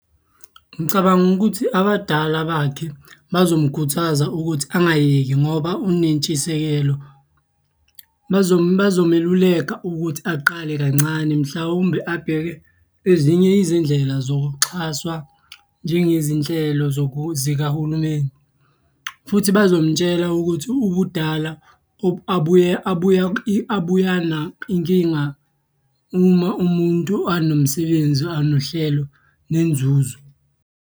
Ngicabanga ukuthi abadala bakhe bazomukhuthaza ukuthi angayeki ngoba unentshisekelo. Bazomeluleka ukuthi aqale kancane mhlawumbe abheke ezinye izindlela zokuxhaswa njengezinhlelo zikahulumeni, futhi bazomtshela ukuthi ubudala . Inkinga uma umuntu anomsebenzi, anohlelo, nenzuzo.